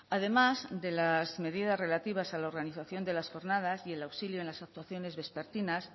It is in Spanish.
además de las medidas relativas a la organización de las jornadas y el auxilio en las actuaciones vespertinas